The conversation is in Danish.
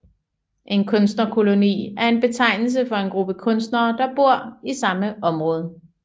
En kunstnerkoloni er en betegnelse for en gruppe kunstnere der bor i samme område